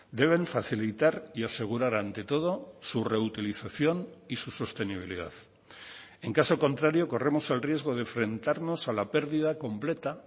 deben facilitar y asegurar ante todo su reutilización y su sostenibilidad en caso contrario corremos el riesgo de enfrentarnos a la pérdida completa